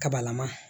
Kabalama